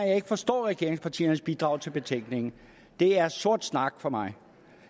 jeg ikke forstår regeringspartiernes bidrag til betænkningen det er sort snak for mig